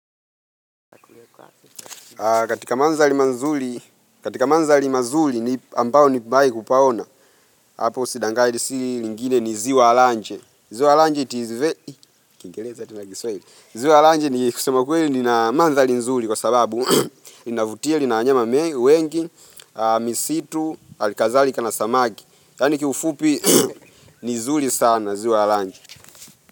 Katika manzali mazuli katika manzali mazuli ambao nimbae kupaona hapo si dangani si lingine ni ziwa alanje ziwa alanje iti ve ziwa alanje ni kusema kweli nina mandhali nzuli kwa sababu inavutia lina wanyama wengi misitu alikazalika na samaki yani kiufupi ni zuli sana ziwa alanje.